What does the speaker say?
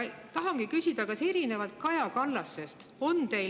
Tahan küsida, kas erinevalt Kaja Kallasest on teil …